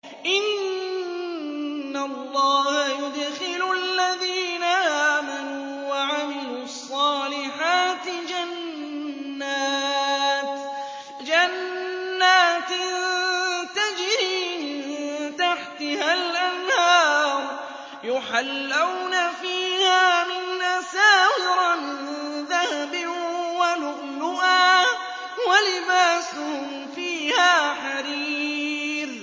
إِنَّ اللَّهَ يُدْخِلُ الَّذِينَ آمَنُوا وَعَمِلُوا الصَّالِحَاتِ جَنَّاتٍ تَجْرِي مِن تَحْتِهَا الْأَنْهَارُ يُحَلَّوْنَ فِيهَا مِنْ أَسَاوِرَ مِن ذَهَبٍ وَلُؤْلُؤًا ۖ وَلِبَاسُهُمْ فِيهَا حَرِيرٌ